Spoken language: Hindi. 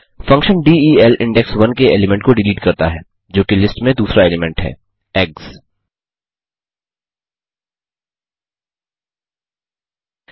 फंक्शन del इंडेक्स 1 के एलीमेंट को डिलीट करता है जोकि लिस्ट में दूसरा एलीमेंट है ईजीजीज